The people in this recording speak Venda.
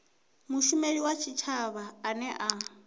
mushumeli wa tshitshavha ane a